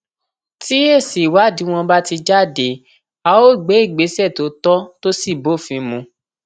tí èsì ìwádìí wọn bá ti jáde a ó gbé ìgbésẹ tó tọ tó sì bófin mu